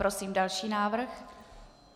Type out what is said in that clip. Prosím další návrh.